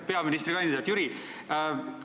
Peaministrikandidaat Jüri!